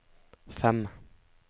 fem